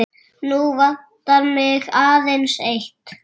Nú vantar mig aðeins eitt!